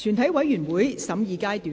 全體委員會審議階段。